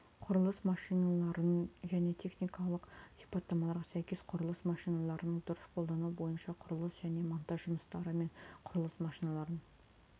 құрылыс машиналарын және техникалық сипаттамаларға сәйкес құрылыс машиналарын дұрыс қолдану бойынша құрылыс және монтаж жұмыстары мен құрылыс машиналарын